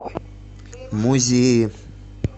музеи